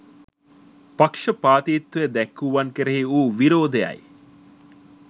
පක්ෂපාතිත්වය දැක්වූවන් කෙරෙහි වූ විරෝධය යි.